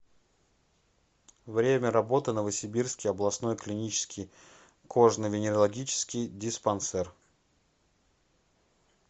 время работы новосибирский областной клинический кожно венерологический диспансер